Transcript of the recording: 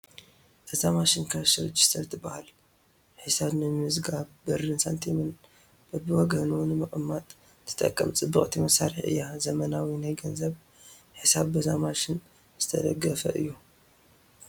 እዛ ማሽን ካሽ ረጂስተር ትበሃል፡፡ ሒዛብ ንምምዝጋብ ብርን ሳንቲምን በብወገኑ ንምቕማጥን ትጠቅም ፅብቕቲ መሳርሒ እያ፡፡ ዘመናዊ ናይ ገንዘብ ሒሳብ በዛ ማሽን ዝተደገፈ እዩ፡፡